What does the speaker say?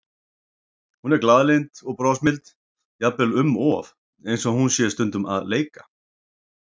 Hún er glaðlynd og brosmild, jafnvel um of, eins og hún sé stundum að leika.